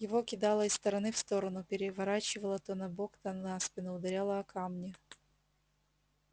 его кидало из стороны в сторону переворачивало то на бок то на спину ударяло о камни